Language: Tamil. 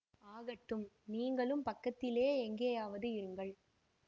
ஆகட்டும் நீங்களும் பக்கத்திலே எங்கேயாவது இருங்கள்